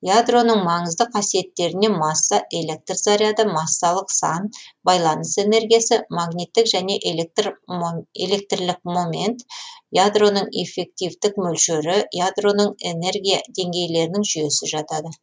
ядроның маңызды қасиеттеріне масса электр заряды массалық сан байланыс энергиясы магниттік және электрлік момент ядроның эффективтік мөлшері ядроның энергия деңгейлерінің жүйесі жатады